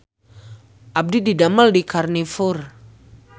Abdi didamel di Karnivor